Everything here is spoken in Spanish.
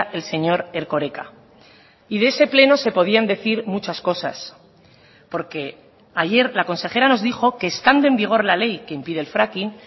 el señor erkoreka y de ese pleno se podían decir muchas cosas porque ayer la consejera nos dijo que estando en vigor la ley que impide el fracking